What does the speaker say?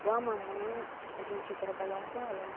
Com a mamãe, a gente trabalhava com ela, né?